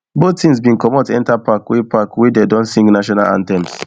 both teams bin comot enta park wey park wey dey don sing national anthems